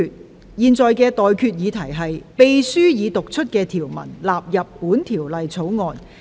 我現在向各位提出的待決議題是：秘書已讀出的條文納入本條例草案。